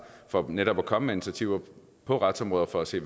for netop at komme med initiativer på retsområdet for at se